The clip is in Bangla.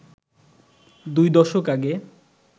দুই দশক আগে